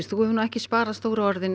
þú hefur ekki sparað stóru orðin